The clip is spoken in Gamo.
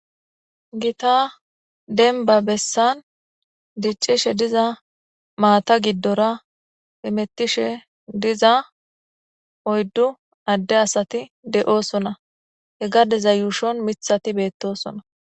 Gita denba bessan diccishe diza maata giddora imettishe diza oyddu adde asati de'oosona he gadeza yuushon mithati beettosona.